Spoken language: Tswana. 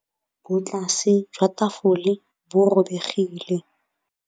Botlasê jwa tafole bo robegile.